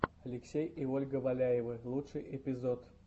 алексей и ольга валяевы лучший эпизод